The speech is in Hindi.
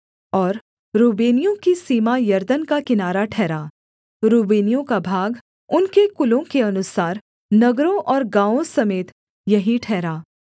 और रूबेनियों की सीमा यरदन का किनारा ठहरा रूबेनियों का भाग उनके कुलों के अनुसार नगरों और गाँवों समेत यही ठहरा